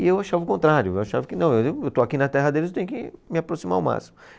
E eu achava o contrário, eu achava que não, eu estou aqui na terra deles, eu tenho que me aproximar o máximo.